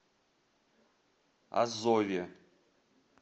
азове